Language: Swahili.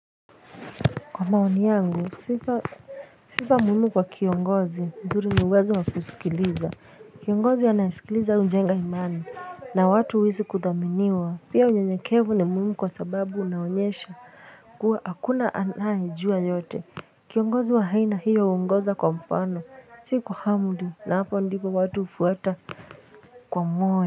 Kwa maoni yangu sifa sifa muhumu kwa kiongozi mzuri niwezo wakusikiliza kiongozi anaisikiliza unjenga imani na watu wisi kuthaminiwa pia unyanyakevu ni muhimu kwa sababu unaonyesha kuwa hakuna anayijua yote kiongozi wahai na hiyo ungoza kwa mpano si kwa hamdu na hapa ndiko watu ufuata kwa moe.